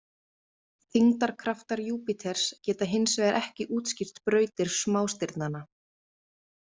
Þyngdarkraftar Júpíters geta hins vegar ekki útskýrt brautir smástirnana.